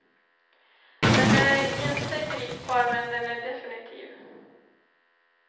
Den är inte gripbar men den är definitiv.